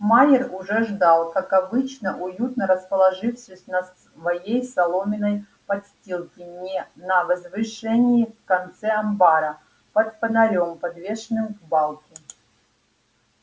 майер уже ждал как обычно уютно расположившись на своей соломенной подстилке на возвышении в конце амбара под фонарём подвешенным к балке